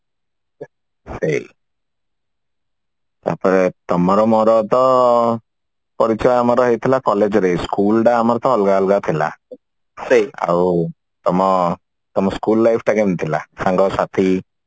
ସେଇ ତାପରେ ତମର ମୋର ତ ପରୀକ୍ଷା ଆମର ହୋଇଥିଲା college ରେ school ଟା ଆମର ତ ଅଲଗା ଅଲଗା ଥିଲା ଆଉ ତମ school life ଟା କିମିତି ଥିଲା ସାଙ୍ଗ ସାଥି